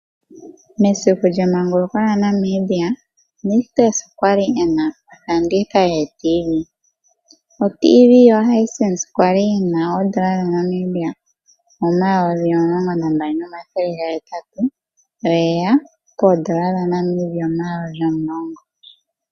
Mesiku lyemanguluko lyaNamibia. Nictus okwali ena ofanditha yooradio dhomizizimba, oTv yo Hisense kwali yina N$12800 ,oye ya koondola N$10000.